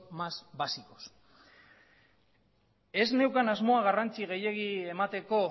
más básicos ez neukan asmoa garrantzi gehiegi emateko